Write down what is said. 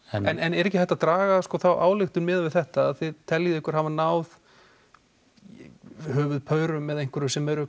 en er ekki hægt að draga þá ályktun miðað við þetta að þið teljið ykkur hafa náð höfuðpaurum eða einhverju sem eru